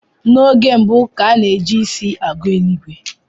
N'oge mbu, ka a na ji isi agụ eli ìgwè